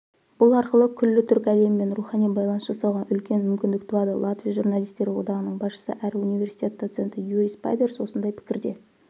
бұл арқылы күллі түркі әлемімен рухани байланыс жасауға үлкен мүмкіндік туады латвия журналистері одағының басшысы әрі университетдоценті юрис пайдерс осындай пікірде